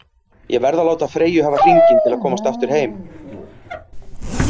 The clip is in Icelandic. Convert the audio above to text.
Ég verð að láta Freyju hafa hringinn til að komast aftur heim.